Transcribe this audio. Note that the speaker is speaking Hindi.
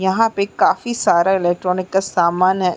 यहाँ पे काफी सारा इलेक्ट्रॉनिक का सामान है।